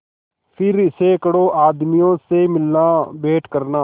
फिर सैकड़ों आदमियों से मिलनाभेंट करना